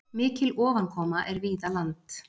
Mikil ofankoma er víða land.